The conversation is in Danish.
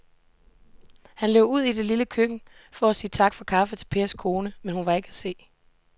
Han løb ud i det lille køkken for at sige tak for kaffe til Pers kone, men hun var ikke til at se.